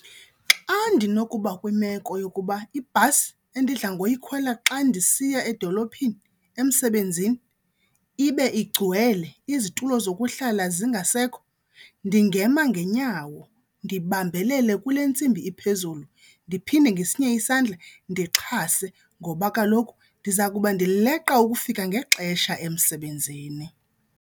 Xa ndinokuba kwimeko yokuba ibhasi endidla ngoyikhwela xa ndisiya edolophini emsebenzini ibe igcwele, izitulo zokuhlala zingasekho, ndingema ngeenyawo ndibambelele kule ntsimbi iphezulu ndiphinde ngesinye isandla ndixhase ngoba kaloku ndiza kuba ndileqa ukufika ngexesha emsebenzini.